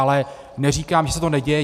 Ale neříkám, že se to neděje.